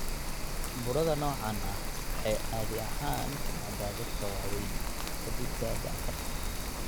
Burada noocaan ah waxay caadi ahaan ku dhacdaa dadka waaweyn (ka dib da'da afartan).